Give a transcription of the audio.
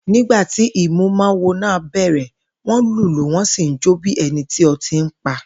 Nígbà tí ìmúmawo náà bè̩rè̩, wó̩n lùlù wó̩n sì ń jó bí e̩ni tí o̩tí pa